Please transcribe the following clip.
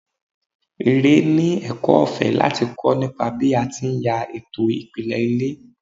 Ire ni ẹ̀kọ́ ọ̀fẹ́ láti kọ́ nípa bí a ti ń ya ètò ìpìlẹ̀ ilé.